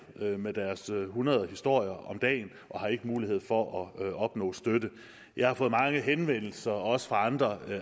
med deres hundrede historier om dagen og har ikke mulighed for at opnå støtte jeg har fået mange henvendelser også fra andre